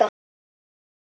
Frekar seint.